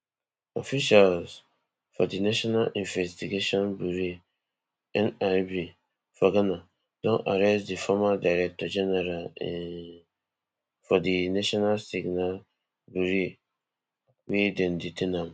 officials for di national investigations burea nib for ghana don arrest di former director general um for di national signals bureau wey dem detain am